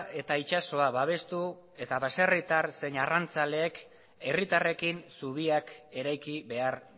eta itsasoa babestu eta baserritar zein arrantzaleek herritarrekin zubiak eraiki behar